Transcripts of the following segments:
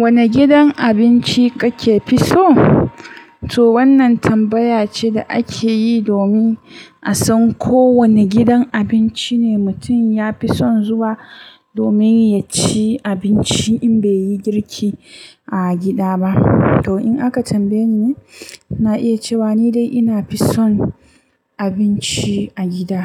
Wanne gidan abinci kake fi so? To wannan tambaya ce da ake yi domin a san ko wane gidan abinci ne mutum ya fi son zuwa domin ya ci abinci in bai yi girki a gida ba. To in aka tambaye ni, na iya cewa ni dai ina fi son abinci a gida.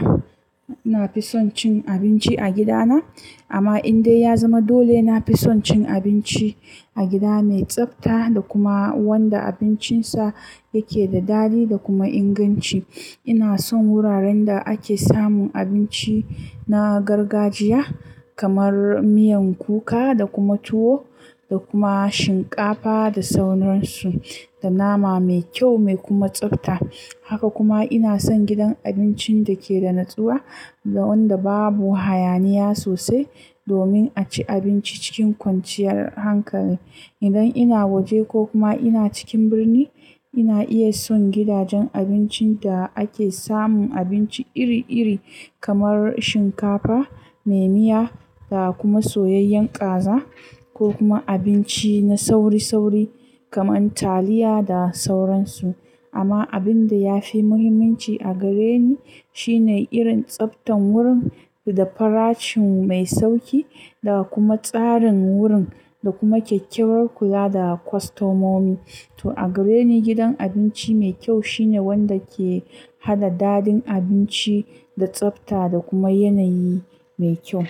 Ina fi son cin abinci a gidana, amma in dai ya zama dole, na fi son cin abinci a gida mai tsafta da kuma wanda abincinsa yake da daɗi da kuma inganci. Ina son wuraren da ake samun abinci na gargajiya kamar miyar kuka da kuma tuwo da kuma shinkafa da sauransu, da nama mai kyau mai kuma tsafta. Haka kuma ina son gidan abincin da ke da natsuwa da wanda babu hayaniya sosai domin a ci abinci cikin kwanciyar hankali. Idan ina waje ko kuma ina cikin birni, ina iya son gidajen abincin da ake samun abinci iri-iri kamar shinkafa mai miya da kuma soyayyen ƙaza ko kuma abinci na sauri-sauri kamar taliya da sauransu. Amma abin da ya fi muhimmanci a gare ni shine irin tsaftan gurin da farashin mai sauƙi da kuma tsarin gurin da kuma kyakkyawar kula da kwastomomi. To a gare ni gidan abinci mai kyau shine wanda ke hada daɗin abinci da tsafta da kuma yanayi mai kyau.